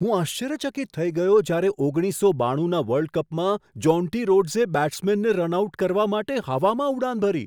હું આશ્ચર્યચકિત થઈ ગયો જ્યારે ઓગણીસસો બાણુના વર્લ્ડ કપમાં જોન્ટી રોડ્સે બેટ્સમેનને રન આઉટ કરવા માટે હવામાં ઉડાન ભરી.